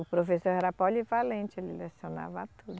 O professor era polivalente, ele lecionava tudo.